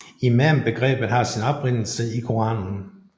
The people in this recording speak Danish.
Imambegrebet har sin oprindelse i Koranen